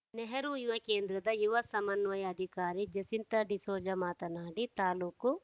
ನೆಹರು ಯುವ ಕೇಂದ್ರದ ಯುವ ಸಮನ್ವಯ ಅಧಿಕಾರಿ ಜಸಿಂತ ಡಿಸೋಜ ಮಾತನಾಡಿ ತಾಲೂಕು